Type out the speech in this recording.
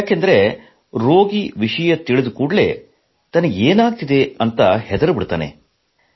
ಏಕೆಂದರೆ ರೋಗಿ ವಿಷಯ ತಿಳಿದ ಕೂಡಲೇ ತನಗೆ ಏನಾಗುತ್ತಿದೆ ಎಂದು ಹೆದರಿ ಬಿಡುತ್ತಾನೆ